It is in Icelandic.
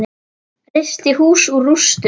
Reisti hús úr rústum.